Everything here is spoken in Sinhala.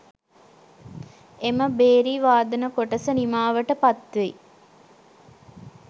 එම භේරි වාදන කොටස නිමාවට පත්වෙයි.